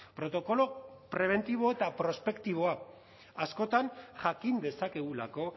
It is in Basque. protokolo prebentibo eta prospektiboa askotan jakin dezakegulako